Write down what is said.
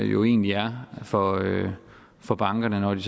jo egentlig er for for bankerne når de